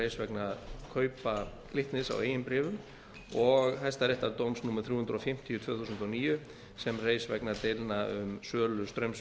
reis vegna kaupa glitnis á eigin bréfum og hæstaréttardóms númer þrjú hundruð fimmtíu tvö þúsund og níu sem reis vegna deilna um sölu straums